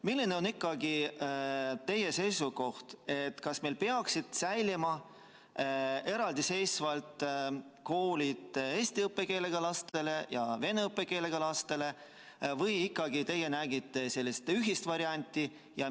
Milline on teie seisukoht, kas meil peaksid säilima eraldi koolid eesti õppekeelega lastele ja vene õppekeelega lastele või te näete ikkagi sellist ühist varianti?